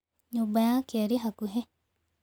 Nyũmba yake ĩrĩ hakuhĩ.